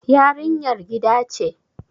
yarinyar gida ce